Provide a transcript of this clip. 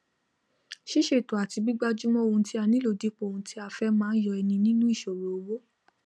sísètò àti gbígbájúmó ohun tí a nílò dípò ohun tí a fé máá yo eni nínú ìsòro owó